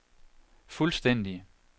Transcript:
fuldstændig